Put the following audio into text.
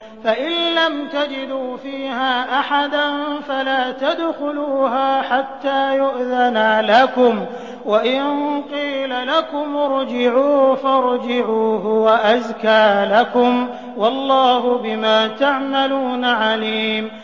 فَإِن لَّمْ تَجِدُوا فِيهَا أَحَدًا فَلَا تَدْخُلُوهَا حَتَّىٰ يُؤْذَنَ لَكُمْ ۖ وَإِن قِيلَ لَكُمُ ارْجِعُوا فَارْجِعُوا ۖ هُوَ أَزْكَىٰ لَكُمْ ۚ وَاللَّهُ بِمَا تَعْمَلُونَ عَلِيمٌ